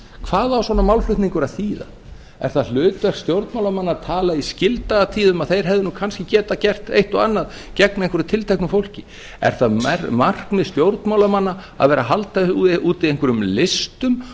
hvað á svona málflutningur að þýða er það hlutverk stjórnmálamanna að tala í skildagatíð að þeir hefðu nú kannski getað gert eitt og annað gegn einhverju tilteknu fólki er það markmið stjórnmálamanna að vera að halda úti einhverjum listum